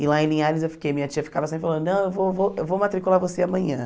E lá em Linhares eu fiquei, minha tia ficava sempre falando, não, eu vou vou eu vou matricular você amanhã.